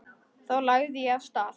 Þá lagði ég af stað.